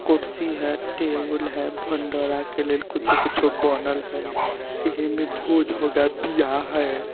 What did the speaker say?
कुर्सी हें टेबुल हें भंडारा के लिए कुछ न कुछ बोनल हें एह में भोजो का बियाह हैं।